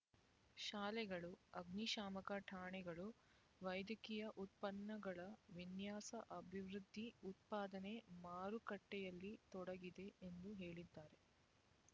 ಶಾಲೆಗಳು ಅಗ್ನಿಶಾಮಕ ಠಾಣೆಗಳು ವೈದ್ಯಕೀಯ ಉತ್ಪನ್ನಗಳ ವಿನ್ಯಾಸ ಅಭಿವೃದ್ಧಿ ಉತ್ಪಾದನೆ ಮಾರುಕಟ್ಟೆಯಲ್ಲಿ ತೊಡಗಿದೆ ಎಂದು ಹೇಳಿದ್ದಾರೆ